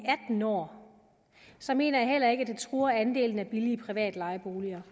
atten år så mener jeg heller ikke at det truer andelen af billige private lejeboliger